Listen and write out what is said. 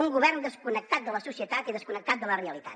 un govern desconnectat de la societat i desconnectat de la realitat